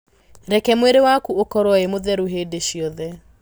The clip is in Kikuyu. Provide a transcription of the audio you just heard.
Reku mwĩrĩwaku ũkorwo wĩmũtheru hĩndĩciothe.